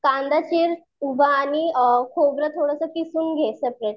कांदा चीर उभा आणि खोबरं थोडंसं किसून घे सगळं